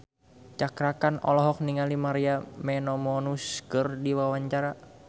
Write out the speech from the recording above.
Cakra Khan olohok ningali Maria Menounos keur diwawancara